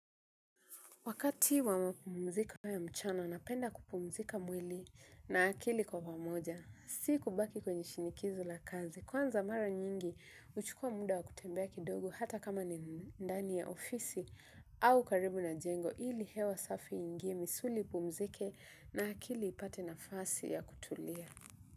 Wakati wa mapumziko ya mchana, napenda kupumzika mwili na akili kwa pamoja si kubaki kwenye shinikizo la kazi. Kwanza mara nyingi, huchukua muda wa kutembea kidogo hata kama ni ndani ya ofisi au karibu na jengo ili hewa safi iingie misuli ipumzike na akili ipate nafasi ya kutulia.